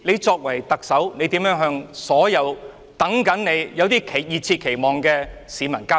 身為特首，你如何向所有等你和充滿熱切期望的市民交代？